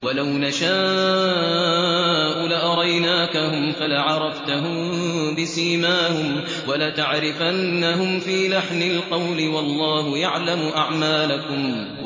وَلَوْ نَشَاءُ لَأَرَيْنَاكَهُمْ فَلَعَرَفْتَهُم بِسِيمَاهُمْ ۚ وَلَتَعْرِفَنَّهُمْ فِي لَحْنِ الْقَوْلِ ۚ وَاللَّهُ يَعْلَمُ أَعْمَالَكُمْ